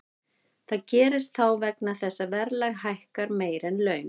Það gerist þá vegna þess að verðlag hækkar meira en laun.